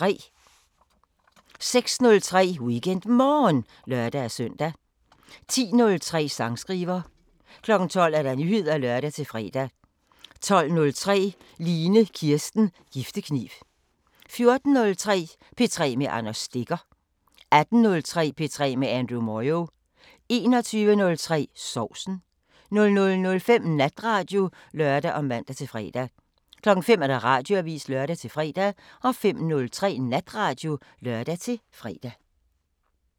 06:03: WeekendMorgen (lør-søn) 10:03: Sangskriver 12:00: Nyheder (lør-fre) 12:03: Line Kirsten Giftekniv 14:03: P3 med Anders Stegger 18:03: P3 med Andrew Moyo 21:03: Sovsen 00:05: Natradio (lør og man-fre) 05:00: Radioavisen (lør-fre) 05:03: Natradio (lør-fre)